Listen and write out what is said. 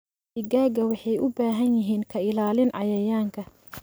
Digaagga waxay u baahan yihiin ka ilaalin cayayaanka.